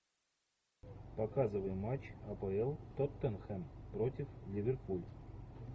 показывай матч апл тоттенхэм против ливерпуль